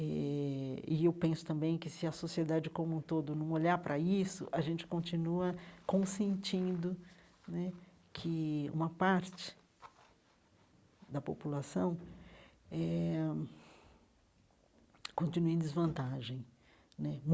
Eh e eu penso também que se a sociedade como um todo não olhar para isso, a gente continua consentindo né que uma parte da população eh continue em desvantagem né.